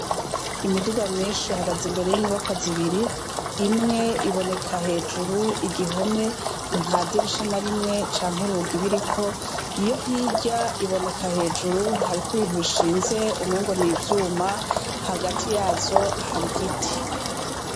Imiduga myinshi hagaze imbere y'inyubaka zibiri imwe iboneka hejuru igihome nta dirisha na rimwe canke ibi iriko iyo hirya iboneka hejuru hariko ibintu bishinze umwengo ni ivyuma hagati yazo hari giti.